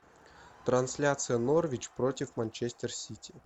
трансляция норвич против манчестер сити